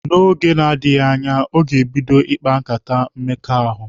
N'oge na-adịghi anya, ọ ga-ebido ikpa nkata mmekọahụ.